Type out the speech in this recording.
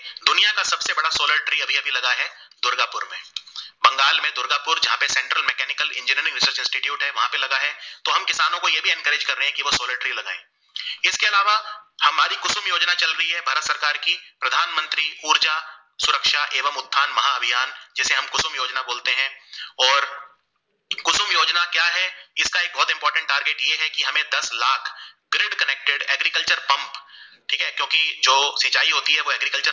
है क्योकि जो सिंचाई होती है वो Agricultural